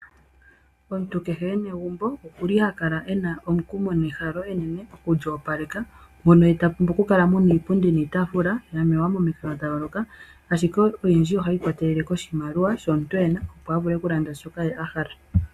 Omuntu kehe e na egumbo oha kala e na omukumo nehalo enene oku li opaleka mono ta pumbwa okukala mo niipundi niitafula ya mwewa momikalo dha yooloka ashike olundji ohashi ikwatelele kiimaliwa mbyoka e na a vule okulanda osikopa.